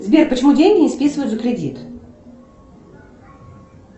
сбер почему деньги не списывают за кредит